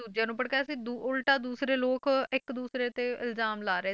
ਦੂਜਿਆਂ ਨੂੰ ਭੜਕਾਇਆ ਸੀ ਦੂ~ ਉਲਟਾ ਦੂਸਰੇ ਲੋਕ ਇੱਕ ਦੂਸਰੇ ਤੇ ਇਲਜਾਮ ਲਾ ਰਹੇ